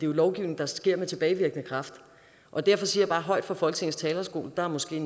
jo lovgivning der sker med tilbagevirkende kraft og derfor siger bare højt fra folketingets talerstol der er måske